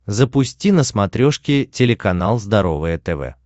запусти на смотрешке телеканал здоровое тв